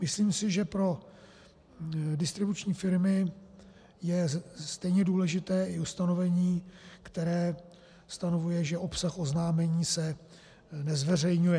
Myslím si, že pro distribuční firmy je stejně důležité i ustanovení, které stanovuje, že obsah oznámení se nezveřejňuje.